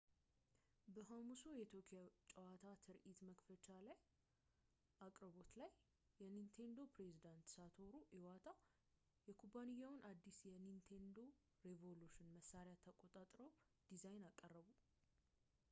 በሐሙሱ የቶኪዮ ጨዋታ ትርኢት መክፈቻ አቅርቦት ላይ የኒንቴንዶ ፕሬዝደንት ሳቶሩ ኢዋታ የኩባንያውን አዲሱን የኒንቴንዶ ሬቮሉሽን መሳሪያ ተቆጣጣሪውን ዲዛይን አቀረቡ